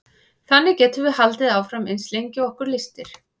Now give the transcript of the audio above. þannig getum við haldið áfram eins lengi og okkur lystir